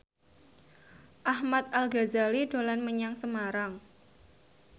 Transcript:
Ahmad Al Ghazali dolan menyang Semarang